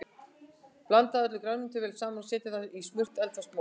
Blandið öllu grænmetinu vel saman og setjið það í smurt eldfast mót.